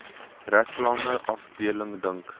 reklame afdeling dink